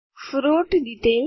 fruits details